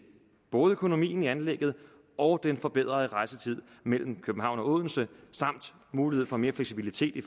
både økonomien i anlægget og den forbedrede rejsetid mellem københavn og odense samt muligheden for mere fleksibilitet i